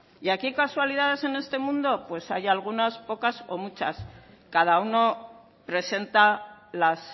y aquí casualidades en este mundo pues hay algunas pocas o muchas cada uno presenta las